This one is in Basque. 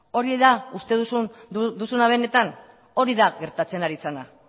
hori da uste duzuna benetan hori da gertatzen ari zena